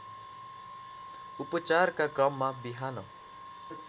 उपचारका क्रममा विहान